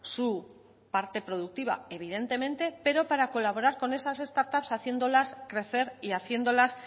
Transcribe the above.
su parte productiva evidentemente pero para colaborar con esas startup haciéndolas crecer y haciéndolas